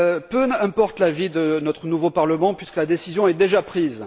Peu importe l'avis de notre nouveau Parlement puisque la décision est déjà prise.